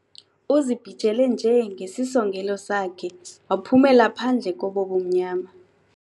Uzibhijele nje ngesisongelelo sakhe, waphumela phandle kobo bumnyama.